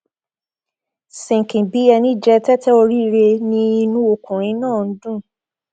sinkin bíi ẹni jẹ tẹtẹ oríire ni inú ọkùnrin náà ń dùn